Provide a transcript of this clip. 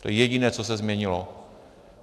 To je jediné, co se změnilo.